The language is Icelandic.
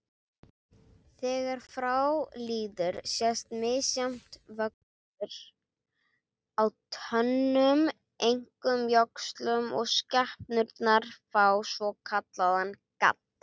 Þegar frá líður sést misjafn vöxtur á tönnum, einkum jöxlum, og skepnurnar fá svokallaðan gadd.